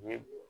Ɲe